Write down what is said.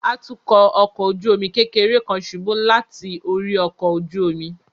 Atukọ ọkọ ojú omi kekere kan ṣubu lati ori ọkọ ojú omi